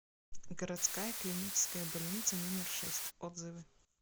городская клиническая больница номер шесть отзывы